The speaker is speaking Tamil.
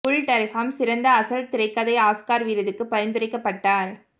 புல் டர்ஹாம் சிறந்த அசல் திரைக்கதை ஆஸ்கார் விருதுக்கு பரிந்துரைக்கப்பட்டார்